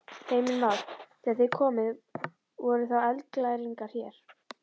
Heimir Már: Þegar þið komuð voru þá eldglæringar hér?